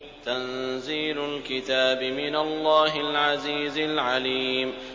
تَنزِيلُ الْكِتَابِ مِنَ اللَّهِ الْعَزِيزِ الْعَلِيمِ